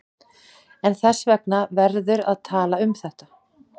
En þess vegna verður að tala um þetta.